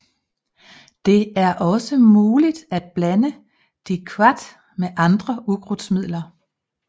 Det er også muligt at blande diquat med andre ukrudtsmidler